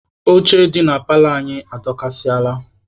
Oche dị na paalọ anyị adọkasịala.